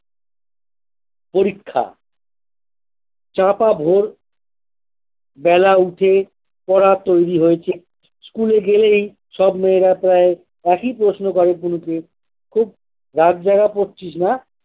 পরীক্ষা চাপা ভোর বেলা উঠে পড়া তৈরী হয়েছে স্কুলে গেলেই সব মেয়েরা প্রায় একই প্রশ্ন করে পুলুকে খুব রাত জাগা পড়ছিস না।